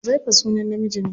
Huzaifa sunan namiji ne.